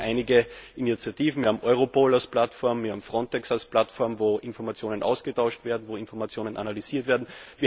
Es gibt ja auch einige Initiativen Wir haben Europol als Plattform, wir haben Frontex als Plattform, wo Informationen ausgetauscht werden, wo Informationen analysiert werden.